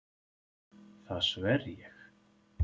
Það sver ég.